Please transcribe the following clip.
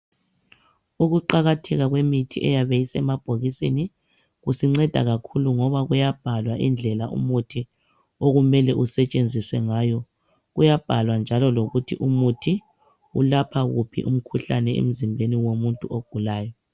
Ukuqakatheka kwemithi eyabe isemabhokisini kusinceda kakhulu ngoba kuyabhalwa indlela umuthi okumele usetshenziswe ngayo kuyabhalwa njalo lokuthi umuthi ulapha wuphi umkhuhlane emzimbeni womuntu ogulayo.